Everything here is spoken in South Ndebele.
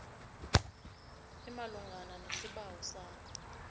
imalungana nesibawo sakho